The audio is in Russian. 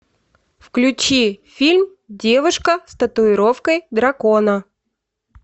включи фильм девушка с татуировкой дракона